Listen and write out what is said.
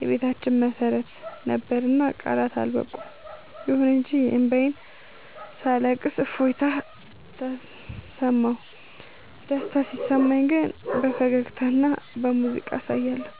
የቤታችን መሰረት ነበርና ቃላት አልበቁም። ይሁን እንጂ እንባዬን ሳለቅስ እፎይታ ተሰማሁ። ደስታ ሲሰማኝ ግን በፈገግታና በሙዚቃ አሳያለሁ።